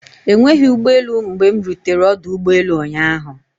Enweghị ụgbọelụ mgbe m rutere ọdụ ụgbọelụ ụnyaahụ.